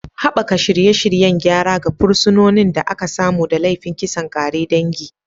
Haɓaka shirye-shiryen gyara ga fursunonin da aka samu da laifin kisan ƙare dangi.